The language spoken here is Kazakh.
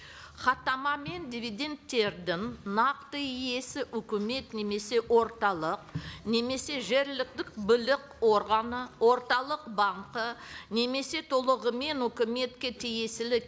хаттамамен дивидендтердің нақты иесі үкімет немесе орталық немесе жергілікті органы орталық банкі немесе толығымен өкіметке тиесілі